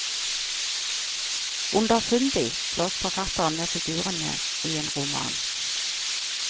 Underfundig slåss forfatteren med figurene i en roman.